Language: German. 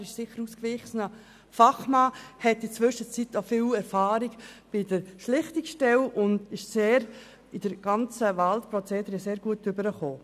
Er ist ausgewiesener Fachmann, hat in der Zwischenzeit viel Erfahrung bei der Schlichtungsstelle und ist im ganzen Wahlprozedere sehr gut rübergekommen.